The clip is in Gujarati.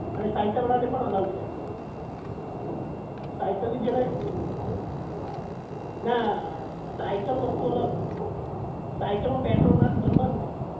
અને સાયકલ વાળા ને પણ allow છે સાયકલ ની ના સાયકલ વસ્તુ અલગ સાયકલ માં પેટ્રોલ ના ભરવાનું હોય